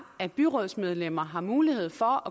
at byrådsmedlemmer har mulighed for